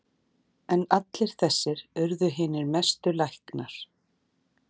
En allir þessir urðu hinir mestu læknar.